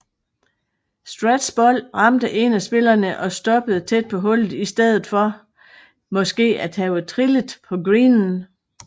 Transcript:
Straths bold ramte en af spillerne og stoppede tæt på hullet i stedet for måske at have trillet af greenen